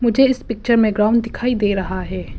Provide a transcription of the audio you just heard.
मुझे इस पिक्चर में ग्राउंड दिखाई दे रहा है।